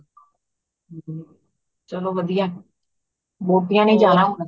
ਚਲੋ ਵਧੀਆ ਵੋਟੀਆਂ ਨੇ ਜਾਣਾ ਹੁਣ